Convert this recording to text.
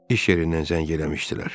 İş yerindən zəng eləmişdilər.